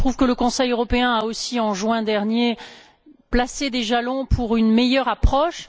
Je trouve que le Conseil européen a aussi, en juin dernier, placé des jalons pour une meilleure approche.